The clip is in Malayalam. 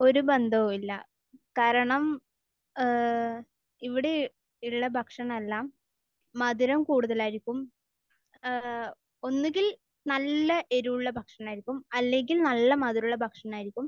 ഒരു ബന്ധവുമില്ല. കാരണം ഏഹ് ഇവിടെ ഉള്ള ഭക്ഷണമെല്ലാം മധുരം കൂടുതലായിരിക്കും. ഏഹ് ഒന്നെങ്കിൽ നല്ല എരിവുള്ള ഭക്ഷണമായിരിക്കും. അല്ലെങ്കിൽ നല്ല മധുരമുള്ള ഭക്ഷണമായിരിക്കും.